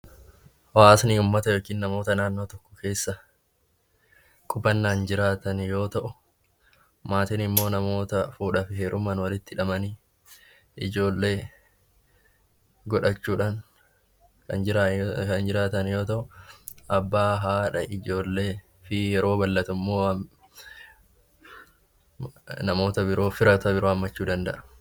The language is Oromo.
Hawaasni uummata yookiin namoota naannoo tokko keessa qubannaan jiraatan yoo ta'u, maatiin immoo namoota fuudhaa fi heerumaan walitti dabalamanii, ijoollee godhachuudhaan kan jiraatan yoo ta'u, abbaa, haadha, ijoollee fi firoota biroo of keessatti qabaachuu danda'a.